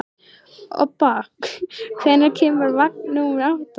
Obba, hvenær kemur vagn númer átta?